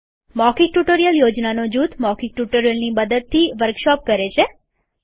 મૌખિક ટ્યુટોરીયલ યોજનાનો જૂથ મૌખિક ટ્યુટોરીયલની મદદથી વર્કશોપ કરે છે